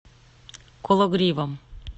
кологривом